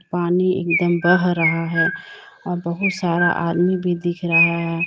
पानी एक दम बह रहा है और बहुत सारा आदमी भी दिख रहा है।